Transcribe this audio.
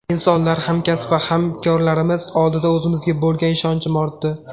Insonlar, hamkasb va hamkorlarimiz oldida o‘zimga bo‘lgan ishonchim ortdi.